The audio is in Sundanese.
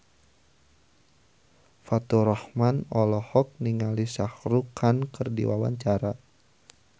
Faturrahman olohok ningali Shah Rukh Khan keur diwawancara